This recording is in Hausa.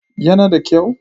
Yana da kyau?